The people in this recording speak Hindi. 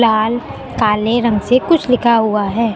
लाल काले रंग से कुछ लिखा हुआ है।